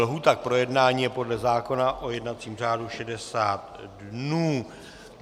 Lhůta k projednání je podle zákona o jednacím řádu 60 dnů.